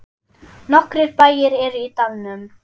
Nokkrir bæir eru í dalnum.